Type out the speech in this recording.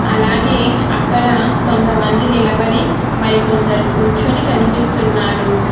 అలాగే అక్కడ కొంతమంది నిలబడి మరికొందరు కూర్చొని కనిపిస్తున్నారు.